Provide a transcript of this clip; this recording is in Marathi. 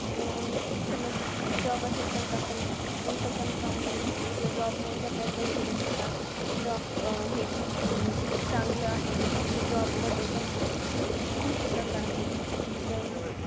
समज, job असेल तरच आपण, कोणतं पण काम करू शकतो. जसं job मुळेच आपल्याला पैशे भेटतात. Job अं हे खूप अं चांगलं आहे. जसं job मध्ये पण, खूप मोठे प्रकार आहेत. जसं अं